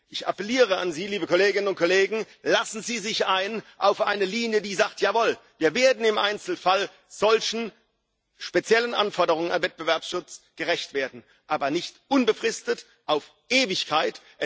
Ich appelliere an Sie, liebe Kolleginnen und Kollegen Lassen Sie sich ein auf eine Linie, die sagt Jawohl, wir werden im Einzelfall solchen speziellen Anforderungen an Wettbewerbsschutz gerecht werden, aber nicht unbefristet, auf Ewigkeit.